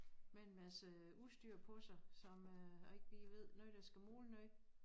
Med en masse udstyr på sig som øh jeg ikke lige ved noget der skal måle noget